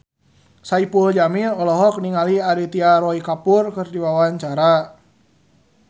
Saipul Jamil olohok ningali Aditya Roy Kapoor keur diwawancara